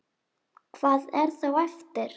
Hvað er þá eftir?